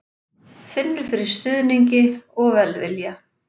Finnur fyrir stuðningi og velvilja